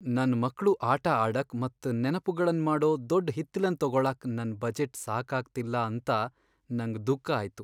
ನನ್ ಮಕ್ಳು ಆಟ ಆಡಕ್ ಮತ್ ನೆನಪುಗಳನ್ ಮಾಡೋ ದೊಡ್ ಹಿತ್ತಲನ್ ತೊಗೊಳಾಕ್ ನನ್ ಬಜೆಟ್ ಸಾಕಾಗ್ತಿಲ್ಲ ಅಂತ ನಂಗ್ ದುಃಖ ಆಯ್ತು.